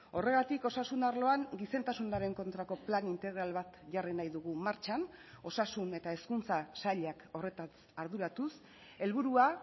horregatik osasun arloan gizentasunaren kontrako plan integral bat jarri nahi dugu martxan osasun eta hezkuntza sailak horretaz arduratuz helburua